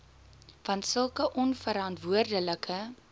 want sulke onverantwoordelike